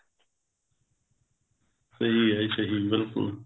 ਸਹੀ ਆ ਜੀ ਸਹੀ ਬਿਲਕੁਲ